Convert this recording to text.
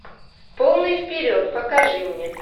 полный вперед покажи мне